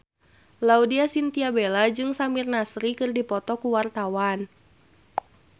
Laudya Chintya Bella jeung Samir Nasri keur dipoto ku wartawan